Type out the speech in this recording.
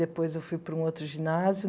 Depois eu fui para um outro ginásio.